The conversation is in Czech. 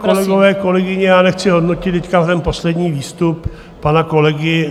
Kolegové, kolegyně, já nechci hodnotit teď ten poslední výstup pana kolegy.